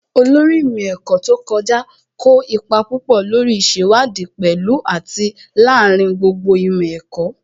Olórí ìmọ̀ ẹ̀kọ́ tó kọjá kó ipa púpọ̀ lórí ìṣèwádìí pẹ̀lú àti lááríin gbogbo ìmọ̀ ẹ̀kọ́